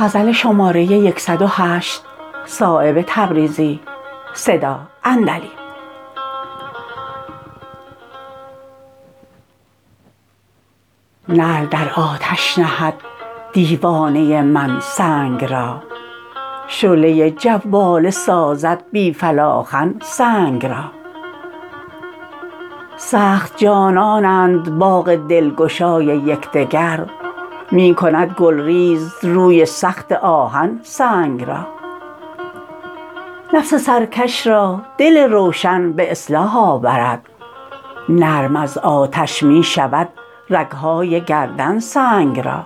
نعل در آتش نهد دیوانه من سنگ را شعله جواله سازد بی فلاخن سنگ را سخت جانانند باغ دلگشای یکدگر می کند گلریز روی سخت آهن سنگ را نفس سرکش را دل روشن به اصلاح آورد نرم از آتش می شود رگ های گردن سنگ را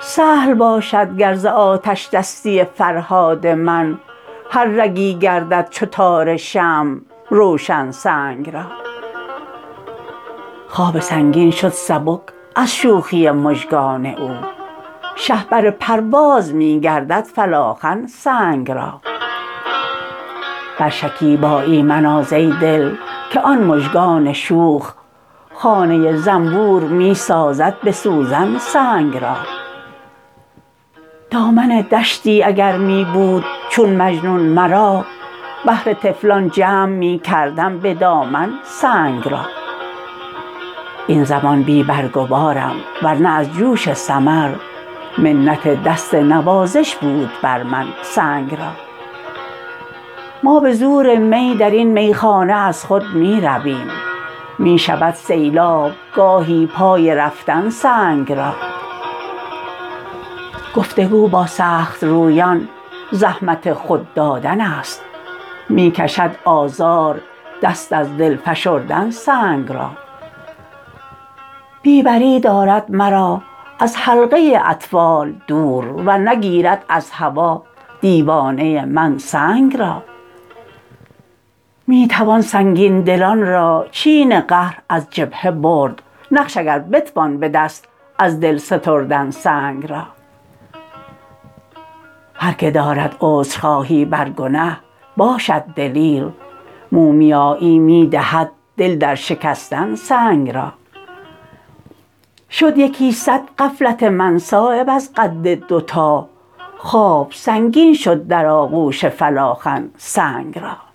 سهل باشد گر ز آتشدستی فرهاد من هر رگی گردد چو تار شمع روشن سنگ را خواب سنگین شد سبک از شوخی مژگان او شهپر پرواز می گردد فلاخن سنگ را بر شکیبایی مناز ای دل که آن مژگان شوخ خانه زنبور می سازد به سوزن سنگ را دامن دشتی اگر می بود چون مجنون مرا بهر طفلان جمع می کردم به دامن سنگ را این زمان بی برگ و بارم ور نه از جوش ثمر منت دست نوازش بود بر من سنگ را ما به زور می درین میخانه از خود می رویم می شود سیلاب گاهی پای رفتن سنگ را گفتگو با سخت رویان زحمت خود دادن است می کشد آزار دست از دل فشردن سنگ را بی بری دارد مرا از حلقه اطفال دور ورنه گیرد از هوا دیوانه من سنگ را می توان سنگین دلان را چین قهر از جبهه برد نقش اگر بتوان به دست از دل ستردن سنگ را هر که دارد عذرخواهی بر گنه باشد دلیر مومیایی می دهد دل در شکستن سنگ را شد یکی صد غفلت من صایب از قد دوتا خواب سنگین شد در آغوش فلاخن سنگ را